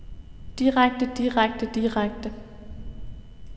direkte direkte direkte